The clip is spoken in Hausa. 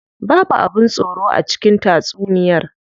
Babu abin tsoro a cikin tatsuniyar.